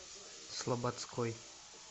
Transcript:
слободской